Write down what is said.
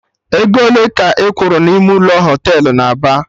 Ego ole ka ị kwuru na ime ụlọ Họtelụ na Aba?